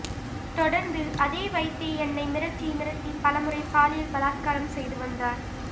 தொடர்ந்து அதை வைத்தே என்னை மிரட்டி மிரட்டி பலமுறை பாலியல் பலாத்காரம் செய்து வந்தார்